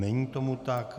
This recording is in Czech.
Není tomu tak.